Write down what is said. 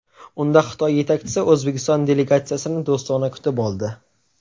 Unda Xitoy yetakchisi O‘zbekiston delegatsiyasini do‘stona kutib oldi.